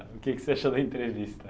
O que você achou da entrevista?